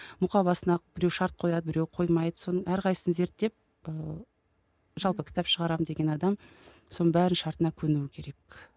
мұқабасына біреу шарт қояды біреу қоймайды соның әрқайсысын зерттеп ыыы жалпы кітап шығарамын деген адам соның бәрінің шартына көнуі керек